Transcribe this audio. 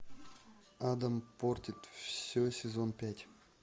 адам портит все сезон пять